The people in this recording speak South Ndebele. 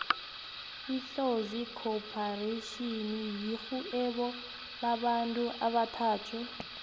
itlozi khopharetjhini yirhvuebo lamabantu abathathu